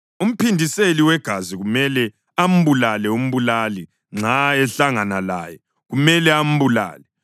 Umphindiseli wegazi kumele ambulale umbulali; nxa ehlangana laye, kumele ambulale.